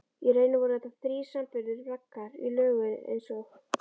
Í rauninni voru þetta þrír sambyggðir braggar í lögun einsog